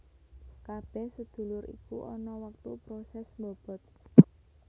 Kabeh sedulur iku ana wektu proses mbobot